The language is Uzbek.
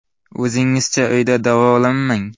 O‘zingizcha uyda davolanmang.